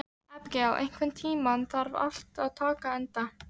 Abigael, einhvern tímann þarf allt að taka enda.